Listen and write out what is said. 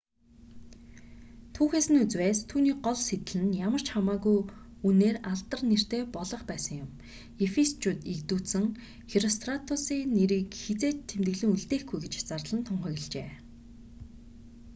түүхээс нь үзвээс түүний гол сэдэл нь ямар ч хамаагүй үнээр алдар нэртэй болох байсан ефисчүүд эгдүүцэн херостратусыг нэрийг хэзээ ч тэмдэглэн үлдээхгүй гэж зарлан тунхаглжээ